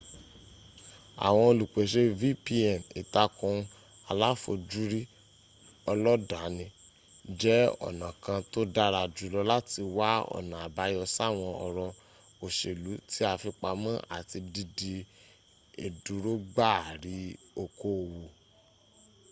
àwọn olùpèsè vpn ìtàkùn aláfojúrí ọlọ́danni jẹ́ ọ̀nà kan tó dára jùlọ láti wá ọ̀nà àbáyọ sáwọn ọ̀rọ̀ òṣèlú tí a fi pamọ́ àti dídí ìdúrógbaari okoòwò